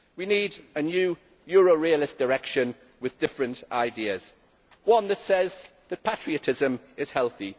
We need a new Euro realist direction with different ideas one that says that patriotism is healthy